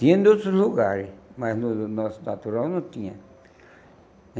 Tinha em outros lugares, mas no nosso natural não tinha.